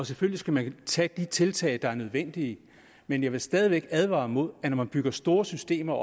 selvfølgelig skal man tage de tiltag der er nødvendige men jeg vil stadig væk advare mod at når man opbygger store systemer